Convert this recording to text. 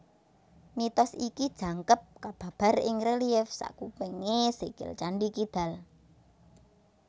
Mitos iki jangkep kababar ing relief sakupengé sikil Candhi Kidal